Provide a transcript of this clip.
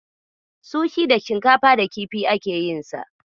Sushi da shinkafa da kifi ake yinsa.